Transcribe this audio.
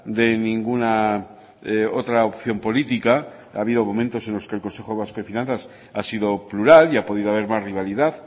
de ninguna otra opción política ha habido momentos en los que el consejo vasco de finanzas ha sido plural y ha podido haber más rivalidad